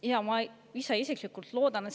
Jaa, ma ise ka loodan seda.